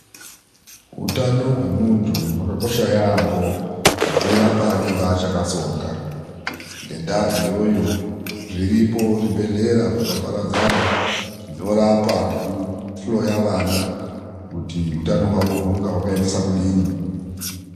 Utano hwemuntu hwakakosha yaambo, kubvira paanenge akachatsonga. Ngendaa iyoyo, zviripo zvibhedhlera zvakaparadzana, zvinorapa nekuhloya vana kuti utano hwavo hunenge hwakaningise kudini.